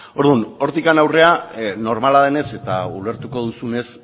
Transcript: orduan hortik aurrera normala denez eta ulertuko duzunez